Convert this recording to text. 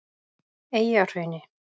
Eyjahrauni